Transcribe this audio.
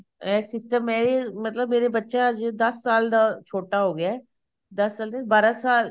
ਇਹ system ਐ ਮਤਲਬ ਮੇਰਾ ਬੱਚਾ ਜੇ ਦਸ ਸਾਲ ਦਾ ਛੋਟਾ ਹੋ ਗਿਆ ਦਸ ਸਾਲ ਨੀ ਬਾਰਾਂ ਸਾਲ